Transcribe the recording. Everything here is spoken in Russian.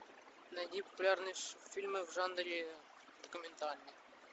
найди популярные фильмы в жанре документальный